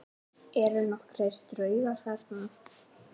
Eru nokkrir draugar þarna?